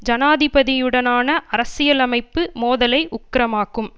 ஜனாதிபதியுடனான அரசியலமைப்பு மோதலை உக்கிரமாக்கும்